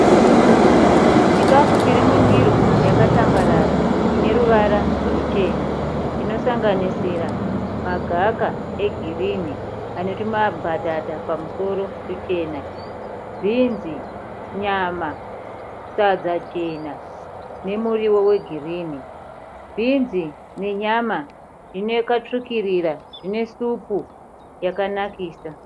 Chikafu chiri mundiro yakatambarara ine ruvara ruchena inosanganisira magaka egirinhi ane tumambatata pamusoro tuchena. Bhinzi, nyama, sadza jena nemuriwo wegirinhi. Bhinzi nenyama zvakatsvukirira. Zvine supu yakanakisa.